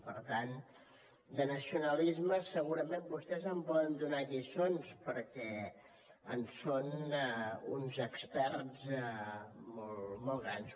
per tant de nacionalismes segurament vostès en poden donar lliçons perquè en són uns experts molt grans